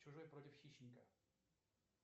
чужой против хищника